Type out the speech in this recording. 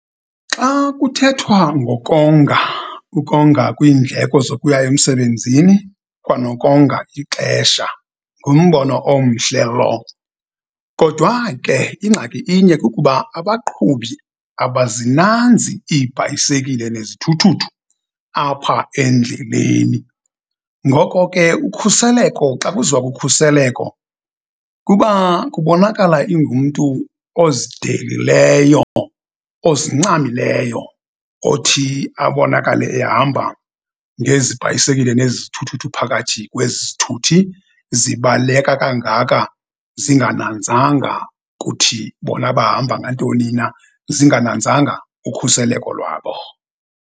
Xa kuthethwa ngokonga, ukonga kwiindleko zokuya emsebenzini kwanokonga ixesha ngumbono omhle lowo. Kodwa ke ingxaki inye kukuba abaqhubi abazinanzi iibhayisekile nezithuthuthu apha endleleni. Ngoko ke, ukhuseleko xa kuziwa kukhuseleko kuba kubonakala ingumntu ozidelileyo, ozincamileyo othi abonakale ehamba ngezi bhayisekile nezi zithuthuthu phakathi kwezithuthi zibaleka kangaka zingananzanga kuthi bona bahamba ngantoni na, zingananzanga ukhuseleko lwabo.